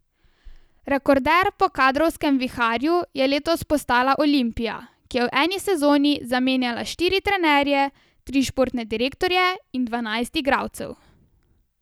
Rekorder po kadrovskem viharju je letos postala Olimpija, ki je v eni sezoni zamenjala štiri trenerje, tri športne direktorje in dvanajst igralcev.